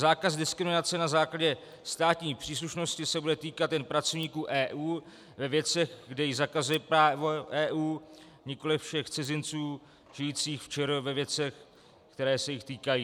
Zákaz diskriminace na základě státní příslušnosti se bude týkat jen pracovníků EU ve věcech, kde ji zakazuje právo EU, nikoliv všech cizinců žijících v ČR ve věcech, které se jich týkají.